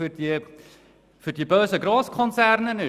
Ist er für die bösen Grosskonzerne?